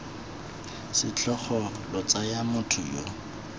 setlhogo lo tsaya motho yo